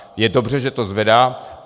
Je dobře, že to zvedá.